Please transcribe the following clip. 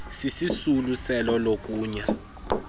sisisulu selo lokonya